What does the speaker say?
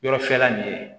Yɔrɔ fɛrɛ min ye